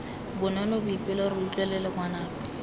bonolo boipelo re utlwelele ngwanaka